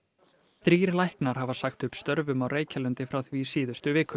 þrír læknar hafa sagt upp störfum á Reykjalundi frá því í síðustu viku